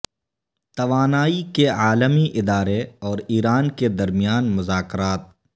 توانائی کے عالمی ادارے اور ایران کے درمیان مذاکرات